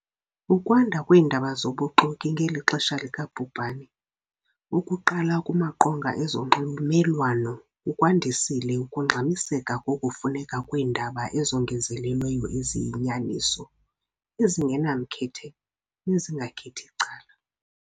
Ukwanda kweendaba zobuxoki ngeli xesha lika bhubhane, okuqala kumaqonga ezonxulumelwano, kukwandisile ukungxamiseka kokufuneka kweendaba ezongezelelweyo eziyinyaniso, ezingenamkhethe nezingakhethi cala.